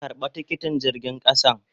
Karba tikiti jirgin kasan.